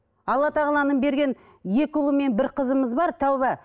алла тағаланың берген екі ұлы мен бір қызымыз бар тәуба